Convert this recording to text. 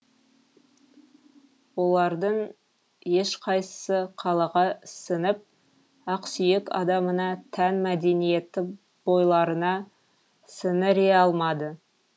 олардың ешқайсысы қалаға сіңіп ақсүйек адамына тән мәдениетті бойларына сіңіре алмады